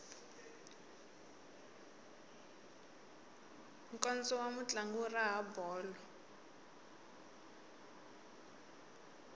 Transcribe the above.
nkondzo wa mutlangi wu raha bolo